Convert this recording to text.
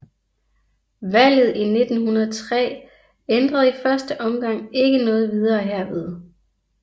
Valget i 1903 ændrede i første omgang ikke noget videre herved